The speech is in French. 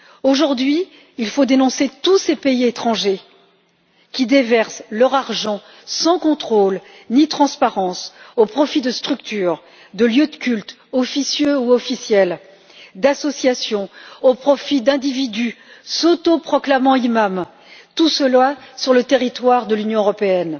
Aujourd'hui, il faut dénoncer tous ces pays étrangers qui déversent leur argent sans contrôle ni transparence au profit de structures, de lieux de culte, officieux ou officiels, d'associations, au profit d'individus s'autoproclamant imams, tout cela sur le territoire de l'Union européenne.